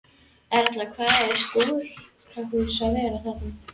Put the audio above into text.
Erla: Hvaða sjúkrahús var þetta?